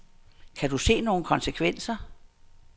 Kan du se nogle konsekvenser.